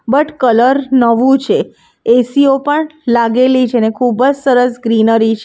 But colour નવું છે AC ઓ પણ લાગેલી છે ને ખૂબજ સરસ ગ્રીનરી છે.